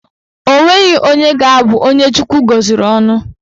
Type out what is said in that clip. Onweghi onye ga-abụ onye Chukwu gọziri ọnụ